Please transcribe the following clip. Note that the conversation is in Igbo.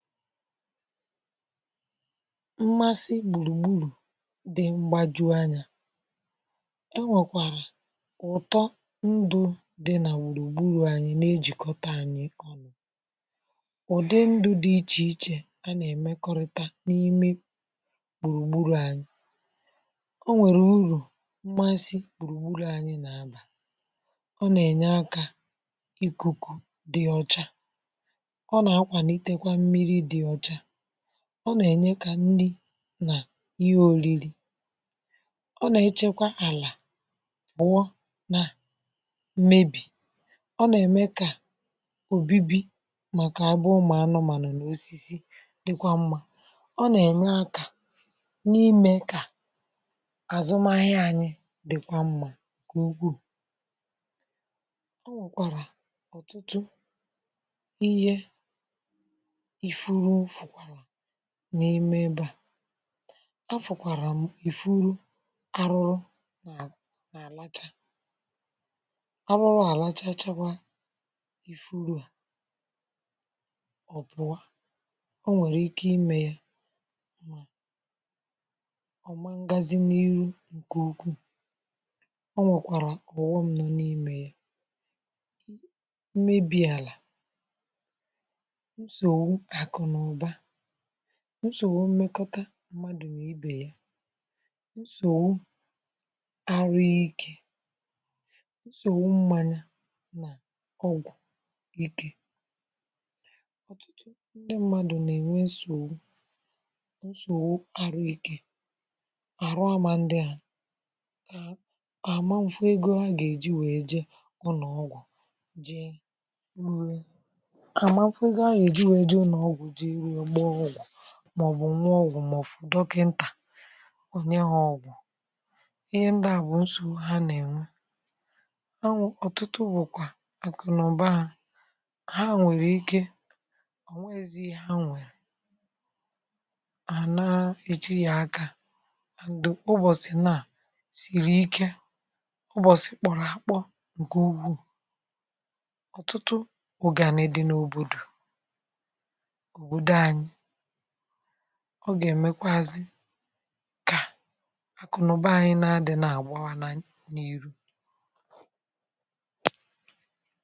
mmasị gbùrùgburù dị mgbaju anyȧ. e nwèkwàrà ụ̀tọ ndụ̇ dị nà gbùrùgburù anyị̇ nà-ejìkọta anyị̇ ọ̀nụ̀, ụ̀dị ndụ̇ dị ichè ichè a nà-èmekọrịta n’ime gbùrùgburù anyị̇ o nwèrè urù mmasị gbùrùgburù anyị̇ nà-abà, ọ nà-ènye akȧ ikuku dị ọcha, ọ nà akwalitekwa mmiri dị ọcha, ọ nà-ènye kà nrị nà ihe ȯriri ọ nà-echekwa àlà pụ̀ọ na mmebì ọ nà-ème kà òbibi màkà abụ ụmụ anụmanụ nà osisi dịkwa mmȧ ọ nà-ènye akȧ n’imė kà àzụmahịa ànyị dị̀kwa mmȧ nke ukwuù o nwèkwàrà ọ̀tụtụ ihe ifurufuru n’ime ebe à a fụ̀kwàrà ìfuru arụrụ n’àlacha arụrụ a lachachakwa ìfuru à ọ̀pụ̀ a o nwèrè ike imė yȧ ọ̀ mangazi n'ihu ǹkè ukwuù o nwèkwàrà ọ̀ghọm nọ n’imė yȧ mmebi àlà ǹsògbu aku na uba nsogbu mmekọta mmadụ̀ nà ibè ya nsògbu arụ ikė nsògbu mmanya nà ọgwụ̀ ikė ọ̀tụtụ ndị mmadụ̀ nà-ènwe nsògbu nsògbu arụ ikė àrụ amȧ ndị hà àmanfụ ego ha gà-èji wee je ụnọ̀ ọgwụ̀ jee wee à àmanfụ ego ha gà-èji wee je ụnọ̀ ọgwụ̀ jee wee gbaa ọgwụ̀ màobu nuo ọgwụ̀ maọ̀bu fụ̀ dọkịntà o nye ha ọgwụ̀ ihe ndị à bụ̀ nsogbu ha nà ènwe anwụ̇ ọ̀tụtụ bụ̀kwà àkụ̀nụ̀ba ha ha nwèrè ike o nweghizi ihe ha nwèrè à naa iji yȧ aka ubọ̀sì naà sìrì ike ubọ̀sì kpọ̀rọ̀ àkpọ ǹkè ukwu ọ̀tụtụ ọ̀gàni dị n’òbòdò, obodo anyi ọ gà-èmekwazị kà àkụ nà ụba anyi nà-adị̇ nà-àgbawa n’iru.